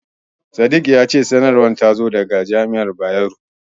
Sadik ya ce sanarwar ta zo daga jami'ar Bayero.